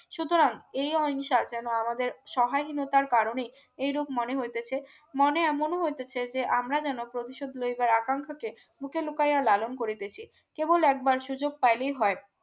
সুতরাং এই অহিংসার যেন আমাদের সহাহীনতার কারণে এরূপ মনে হইতেছে মনে এমনও হইতেছে যে আমরা যেন প্রতিশোধ লইবার আকাঙ্ক্ষাকে বুকে লুকাইয়া লালন করিতেছি কেবল একবার সুযোগ পাইলেই হয়